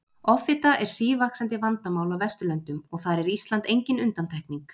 Offita er sívaxandi vandamál á Vesturlöndum og þar er Ísland engin undantekning.